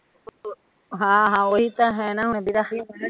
ਹਾਂ ਹਾਂ ਓਹੀ ਤਾਂ ਹੈ ਨਾ